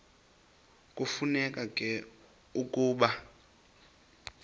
kufuneka ke ukuba